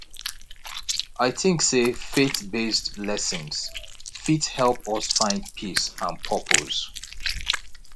i tink sey faithbased lessons fit help us find peace and purpose